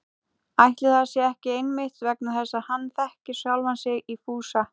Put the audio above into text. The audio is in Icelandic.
Ætli það sé ekki einmitt vegna þess að hann þekkir sjálfan sig í Fúsa